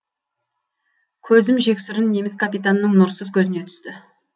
көзім жексұрын неміс капитанының нұрсыз көзіне түсті